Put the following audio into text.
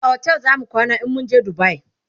a otel zamu kwana in mun je dubai